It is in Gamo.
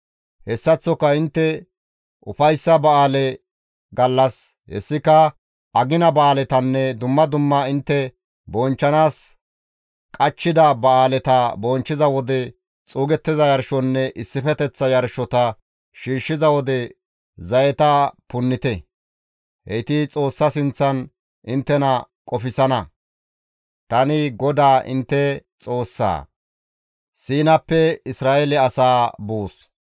Hessaththoka intte ufayssa ba7aale gallas, hessika agina ba7aaletanne dumma dumma intte bonchchanaas qachchida ba7aaleta bonchchiza wode xuugettiza yarshonne issifeteththa yarshota shiishshiza wode zayeta punnite; heyti Xoossa sinththan inttena qofsana; tani GODAA intte Xoossaa.»